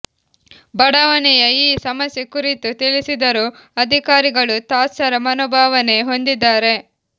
ಬಡಾವಣೆಯ ಈ ಸಮಸ್ಯೆ ಕುರಿತು ತಿಳಿಸಿದರೂ ಅಧಿಕಾರಿಗಳು ತಾತ್ಸರ ಮನೋಭಾವನೆ ಹೊಂದಿದ್ದಾರೆ